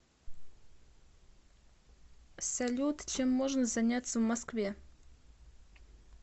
салют чем можно заняться в москве